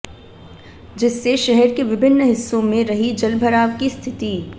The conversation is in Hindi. जिससे शहर के विभिन्न हिस्सों में रही जलभराव की स्थिति